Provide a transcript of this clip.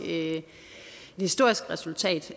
et historisk resultat